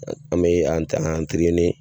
An mɛ an taa